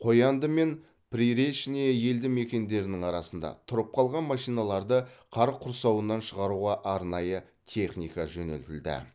қоянды мен приречное елді мекендерінің арасында тұрып қалған машиналарды қар құрсауынан шығаруға арнайы техника жөнелтілді